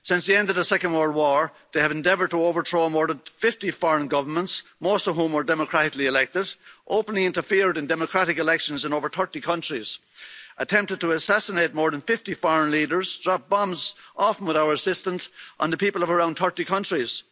Since the end of the Second World War, they have endeavoured to overthrow more than 50 foreign governments, most of whom were democratically elected, openly interfered in democratic elections in over 30 countries, attempted to assassinate more than 50 foreign leaders, and dropped bombs often with our assistance on the people of around 30 countries.